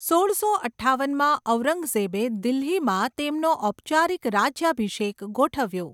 સોળસો અઠ્ઠાવનમાં ઔરંગઝેબે દિલ્હીમાં તેમનો ઔપચારિક રાજ્યાભિષેક ગોઠવ્યો.